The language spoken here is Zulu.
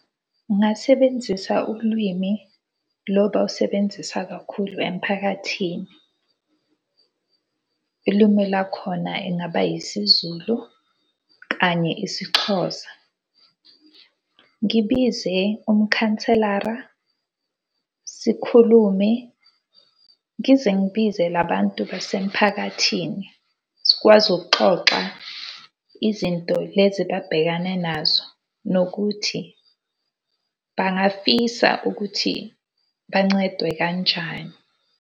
Ngingasebenzisa ubulwimi lo bawusebenzisa kakhulu emphakathini. Ilimi lakhona ingaba yisiZulu kanye isiXhosa. Ngibize umkhanselara, sikhulume ngize ngibize labantu basemphakathini. Sikwazi ukuxoxa izinto lezi babhekane nazo nokuthi bangafisa ukuthi bancedwe kanjani.